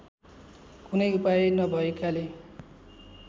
कुनै उपाय नभएकाले